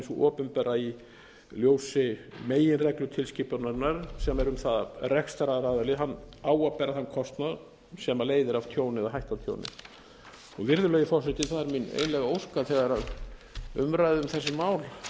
opinbera í ljósi meginreglu tilskipunarinnar sem er um það að rekstraraðili á að bera þann kostnað sem leiðir af tjóni eða hættu á tjóni virðulegi forseti það er mín einlæg ósk að þegar umræðu um þessi mál lýkur verði